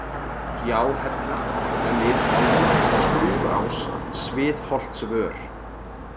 Gjáhella, Glitvangur, Skrúðás, Sviðholtsvör